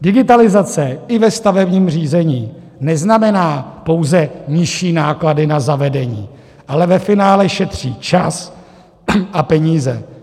Digitalizace i ve stavebním řízení neznamená pouze nižší náklady na zavedení, ale ve finále šetří čas a peníze.